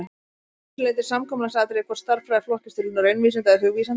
Það er að vissu leyti samkomulagsatriði hvort stærðfræði flokkist til raunvísinda eða hugvísinda.